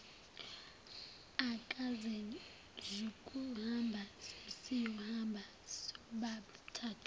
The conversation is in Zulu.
akasezukuhamba sesiyohamba sobathathu